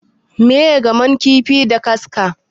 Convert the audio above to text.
Miye gamon kifi da kaska?